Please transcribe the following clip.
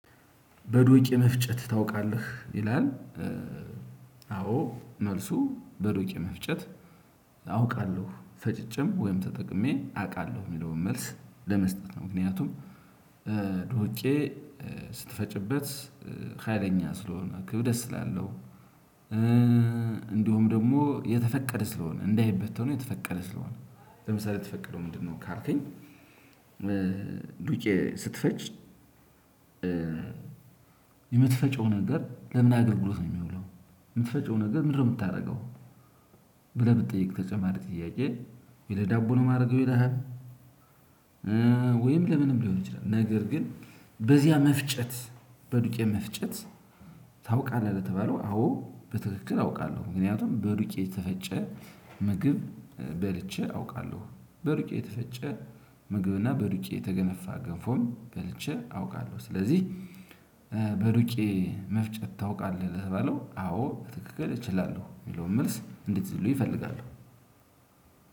በዱቅ የመፍጨት ታውቃለህ ይላል? አዎ መልሱ በዱቅ የመፍጨት አውቃለሁ ፈጭቼም ወይም ተጠቅሜ አቃለሁ የሚለውን መልስ ለመስጠት ነው። ምክንያቱም ዶውቄ ስትፈጭበት ሀይለኛ ስለሆነ ክብደት ስላለው። እንዲሁም ደግሞ የተፈቀደ ስለሆነ እንዳይበተኑ የተፈቀደ ስለሆነ ለምሳሌ የተፈቀደው ምንድን ነው ካልከኝ? ዱቄት ስትፈጭ? የምትፈጨው ነገር ለምን አገልግሎት ነው የሚውለው? የምትፈጨው ነገር ምንድን ነው የምታረገው? ብለህ ብጠይቅ ተጨማሪ ጥያቄ ወይ ለዳቦ ነው የማረገው ይልሃል? ወይም ለምንም ሊሆን ይችላል። ነገር ግን በዚያ መፍጨት በዱቄት መፍጨት ታውቃለህ ለተባለው አወ በትክክል አውቃለሁ ምክንያቱም በዱቄ የተፈጨ ምግብ በልቼ አውቃለሁ። በዱቄ የተፈጨ ምግብና በዱቄ የተገነፋ ገንፎም በልቼ አውቃለሁ። ስለዚህ በዱቄ መፍጨት ታውቃለህ ለተባለው አወ በትክክል እችላለሁ። የሚለውን መልስ እንዲትይዙልኝ እፈልጋለሁ።